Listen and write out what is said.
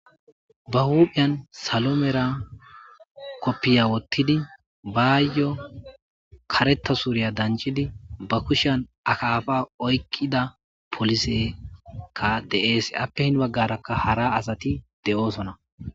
Ba huphiyan salo mela kopiya wothidi bayo karetha suriya dancidi ba kushiyan akapa oykida polisy de'es ape heni baharaka hara asati de'osona